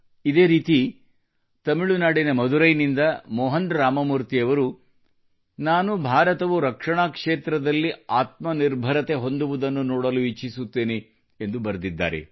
ಇದೇ ರೀತಿ ತಮಿಳುನಾಡಿನ ಮಧುರೈನಿಂದ ಮೋಹನ್ ರಾಮಮೂರ್ತಿ ಅವರು ನಾನು ಭಾರತವು ರಕ್ಷಣಾ ಕ್ಷೇತ್ರದಲ್ಲಿ ಆತ್ಮನಿರ್ಭರತೆ ಹೊಂದುವುದನ್ನು ನೋಡಲು ಇಚ್ಚಿಸುತ್ತೇನೆ ಎಂದು ಬರೆದಿದ್ದಾರೆ